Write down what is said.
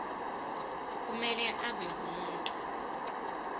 kumele abe ngumuntu